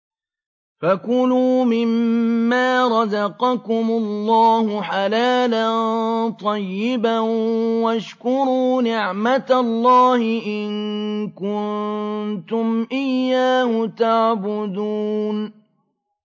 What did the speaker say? فَكُلُوا مِمَّا رَزَقَكُمُ اللَّهُ حَلَالًا طَيِّبًا وَاشْكُرُوا نِعْمَتَ اللَّهِ إِن كُنتُمْ إِيَّاهُ تَعْبُدُونَ